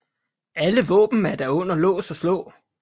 Alle våben er da under lås og slå